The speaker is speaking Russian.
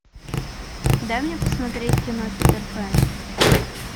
дай мне посмотреть кино питер пен